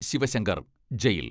Sivasankar jail